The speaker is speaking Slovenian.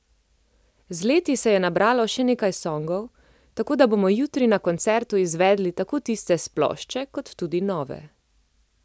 Z leti se je nabralo še nekaj songov, tako da bomo jutri na koncertu izvedli tako tiste s plošče kot tudi nove.